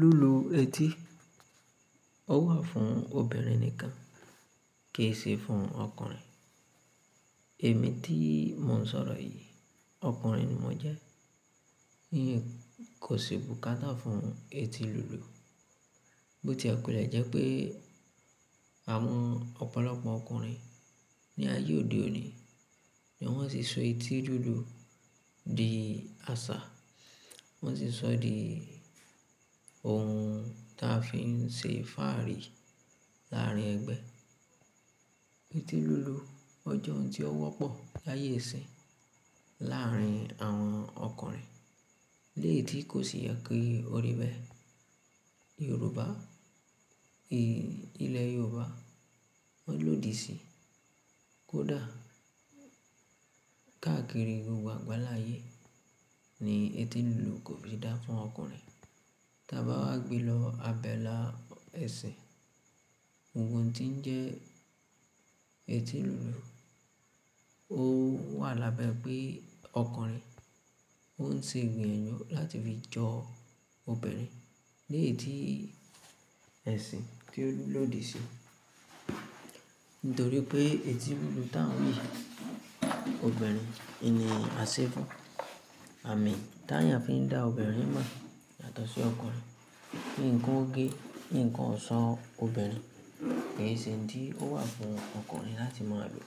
Lulu eti ó wà fún obìnrin nìkan kìí ṣe fún ọkùnrin. Èmi tí mò ń sọ̀rọ̀ yìí ọkùnrin ni mò jẹ́, ní kòsì bùkátà fún eti lulu. Bó ti a kò le jẹ́ pé àwọn ọ̀pọ̀lọpọ̀ ọkùnrin ní ayé òde òní ni wọ́n sì so eti lulu di àṣà, wọ́n sì sọ ọ́ di ohun ta fi ń ṣe fáàrí láàrin ẹgbẹ́. Eti lulu ọjọ́ òun tí ó wọ́pọ̀ láyé ìsín láàrin àwọn ọkùnrin léètí kò sì yẹ kí o rí bẹ́ẹ̀. Yorùbá ilẹ̀ Yorùbá wọ́n lòdì sí i. Kódà káàkiri gbogbo àgbáláyé ni eti lulu kò fi dá fún ọkùnrin. Tí a bá wá gbe lọ abẹ́là ẹsẹ̀ ohun tí ń jẹ́ eti lulu, ó wà lábẹ́ pé ọkùnrin ó ń ṣe gbìyànjú láti fi jọ obìnrin léètí ẹ̀sìn tí ó lòdì sí i. Nítorí pé eti lulu tá ń wí obìnrin, ènìyàn là sé fun, àmì tá ń fi dá obìnrin mọ̀ yàtọ̀ sí ọkùnrin. Nǹkan ogé, nǹkan ọ̀ṣọ́ obìnrin kì í ṣe ǹ tí ó wà fún ọkùnrin láti mọ̀ lo.